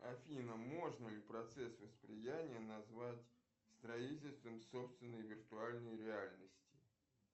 афина можно ли процесс восприятия назвать строительством собственной виртуальной реальности